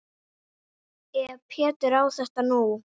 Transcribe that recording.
Ef Pétur á þetta nú.